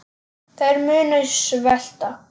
Þeir munu svelta.